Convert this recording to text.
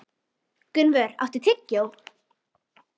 Gunnvör, áttu tyggjó?